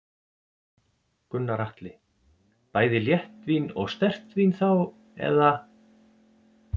Gunnar Atli: Bæði léttvín og sterkt vín þá eða?